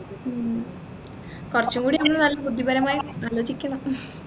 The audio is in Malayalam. ഉം കുറച്ചും കൂടി ഇരുന്ന് നല്ല ബുദ്ധിപരമായി ആലോചിക്കണം